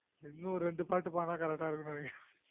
இன்னொரு ரெண்டு பாட்டு பாடுனா correct இருக்னினை